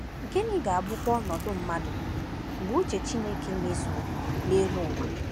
Gịnị ga-abụkwa ọnọdụ mmadụ mgbe uche Chineke mezuo n’elu ụwa?